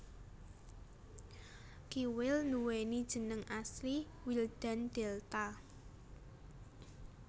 Kiwil nduweni jeneng asli Wildan Delta